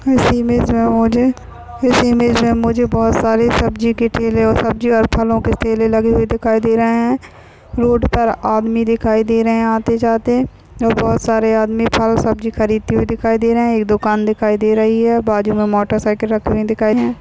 इस इमेज में मुझे बहुत सारे सब्जी के ठेले और सब्जी और फलों के ठेले लगे हुए दिखाई दे रहे है रोड पर आदमी दिखाई दे रहे आते-जाते और बहुत सारे आदमी फल सब्जी खरीदते हुए दिखाई दे रहे है एक दुकान दिखाई दे रही है बाजूमें मोटरसाइकल रखे हुए दिखाई है।